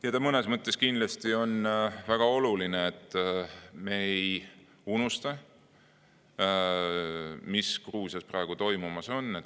Ja mõnes mõttes kindlasti on väga oluline, et me ei unusta, mis Gruusias praegu toimumas on.